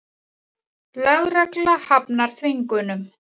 Lögregla hafnar þvingunum